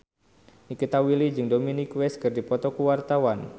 Nikita Willy jeung Dominic West keur dipoto ku wartawan